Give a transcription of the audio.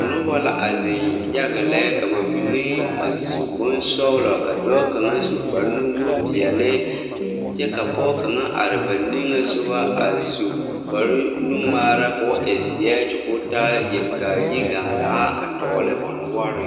Nobɔ la a zeŋ yaga lɛ ka ba mine a su bonsɔglɔ ka dɔɔ kaŋa su kparenuwogre peɛle kyɛ ka pɔɔ kaŋa are ba niŋesugɔ a su kparwnungmaara koo e zeɛ kyɛ koo taa yelikaayi gaŋgaa a tɔgle o noɔreŋ.